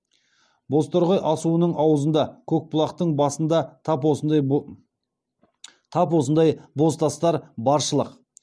бозторғай асуының аузында көкбұлақтың басында тап осындай бозтастар баршылық